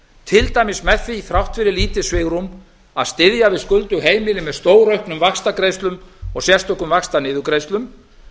til dæmis með því þrátt fyrir lítið svigrúm að styðja við skuldug heimili með stórauknum vaxtagreiðslum og sérstökum vaxtaniðurgreiðslum